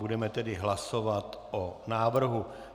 Budeme tedy hlasovat o návrhu.